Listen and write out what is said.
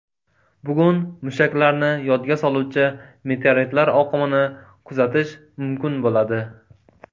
Bugun mushaklarni yodga soluvchi meteoritlar oqimini kuzatish mumkin bo‘ladi.